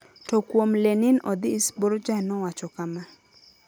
To kuom LeninOdhis, Borja nowacho kama: